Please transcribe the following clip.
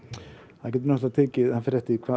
það getur tekið það fer eftir því